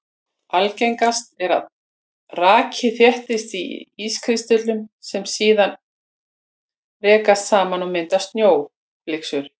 Algengast er að raki þéttist á ískristöllum sem síðan rekast saman og mynda snjóflyksur.